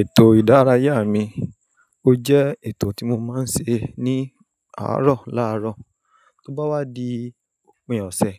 Ètò ìdárayá mi, ó jẹ́ ètò tí mo máa ń ṣe ní àárọ̀ láàárọ̀. Tó bá wá di òpin ọ̀sẹ̀,